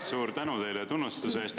Suur tänu teile tunnustuse eest!